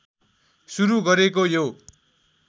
सुरु गरेको यो